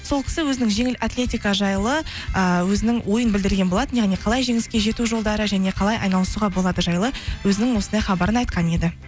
сол кісі өзінің жеңіл атлетика жайлы ыыы өзінің ойын білдірген болатын яғни қалай жеңіске жету жолдары және қалай айналысуға болады жайлы өзінің осындай хабарын айтқан еді